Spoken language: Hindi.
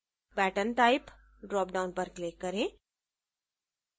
pattern type dropdown पर click करें